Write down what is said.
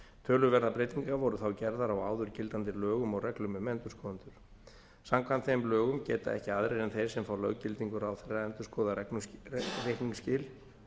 töluverðar breytingar voru þá gerðar á áður gildandi lögum og reglum um endurskoðendur samkvæmt þeim lögum geta ekki aðrir en þeir sem fá löggildingu ráðherra endurskoðað reikningsskil